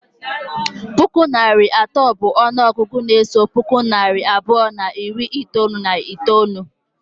Puku na narị atọ bụ ọnụọgụgụ na-eso puku na narị abụọ na iri itolu na itolu.